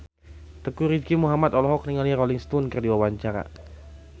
Teuku Rizky Muhammad olohok ningali Rolling Stone keur diwawancara